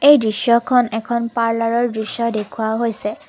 এই দৃশ্যখন এখন পাৰ্লাৰৰ দৃশ্য দেখুওৱা হৈছে।